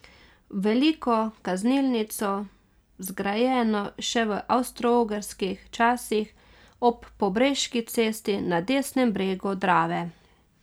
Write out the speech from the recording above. V veliko kaznilnico, zgrajeno še v avstroogrskih časih ob Pobreški cesti na desnem bregu Drave.